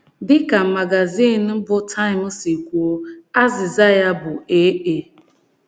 Dị ka magazin bụ́ Time si kwuo, azịza ya bụ ee.